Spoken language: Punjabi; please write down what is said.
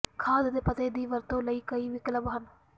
ਖਾਦ ਦੇ ਪੱਤੇ ਦੀ ਵਰਤੋਂ ਲਈ ਕਈ ਵਿਕਲਪ ਹਨ